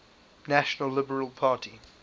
national liberal party